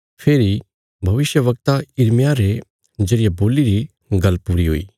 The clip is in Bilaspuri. फेरी भविष्यवक्ता यिर्मयाह रे जरिये बोल्ली री गल्ल पूरी हुई